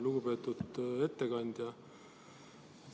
Lugupeetud ettekandja!